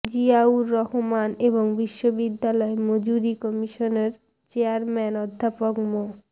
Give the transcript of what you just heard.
জিয়াউর রহমান এবং বিশ্ববিদ্যালয় মঞ্জুরী কমিশনের চেয়ারম্যান অধ্যাপক মো